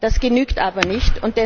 Das genügt aber nicht.